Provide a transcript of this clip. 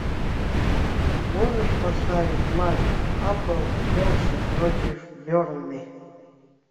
можешь поставить матч апл челси против бернли